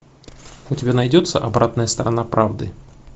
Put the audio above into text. у тебя найдется обратная сторона правды